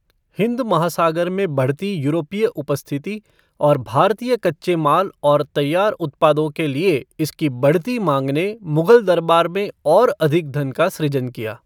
हिंद महासागर में बढ़ती यूरोपीय उपस्थिति और भारतीय कच्चे माल और तैयार उत्पादों के लिए इसकी बढ़ती मांग ने मुगल दरबार में और अधिक धन का सृजन किया।